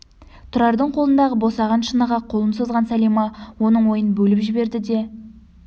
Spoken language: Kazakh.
тұрардың қолындағы босаған шыныға қолын созған сәлима оның ойын бөліп жіберді де